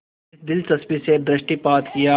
इस दिलचस्पी से दृष्टिपात किया